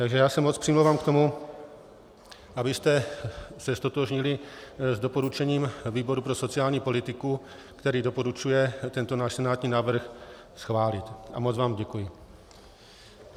Takže já se moc přimlouvám k tomu, abyste se ztotožnili s doporučením výboru pro sociální politiku, který doporučuje tento náš senátní návrh schválit, a moc vám děkuji.